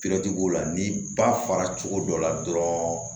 la n'i ba fara cogo dɔ la dɔrɔn